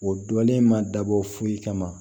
O dɔlen ma dabɔ foyi kama